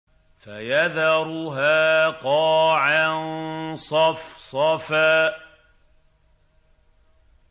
فَيَذَرُهَا قَاعًا صَفْصَفًا